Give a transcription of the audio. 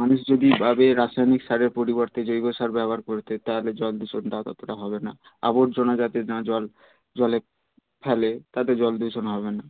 মানুষ যদি ভাবে রাসায়নিক সারের পরিবর্তে জৈব সার ব্যবহার করতে তা হলে জল দূষণ টা ততটা হবে না আবর্জনা যাতে না জল জল এ ফেলে তাতে জল দূষণ হবে না